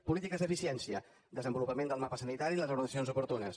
polítiques d’eficiència desenvolupament del mapa sanitari les reordenacions oportunes